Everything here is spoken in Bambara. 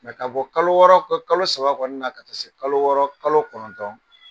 Mɛ ka bɔ kalo wɔɔrɔ ka kalo saba kɔnɔna na ka taa se kalo wɔɔrɔ kalo kɔnɔntɔn